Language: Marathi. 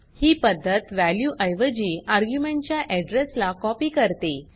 ही पद्धत वॅल्यू ऐवजी आर्ग्युमेंट च्या अड्रेस ला कॉपी करते